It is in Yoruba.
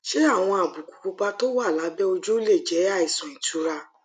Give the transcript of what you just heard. ṣé àwọn àbùkù pupa tó wà lábé ojú lè jé àìsàn ìtura